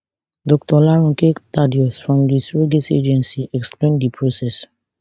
dr olaronke thaddeus from di surrogacy agency explain di process